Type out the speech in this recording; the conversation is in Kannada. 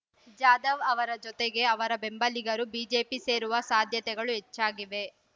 ಜಾಧವ್ ಅವರ ಜತೆಗೆ ಅವರ ಬೆಂಬಲಿಗರು ಬಿಜೆಪಿ ಸೇರುವ ಸಾಧ್ಯತೆಗಳು ಹೆಚ್ಚಾಗಿವೆ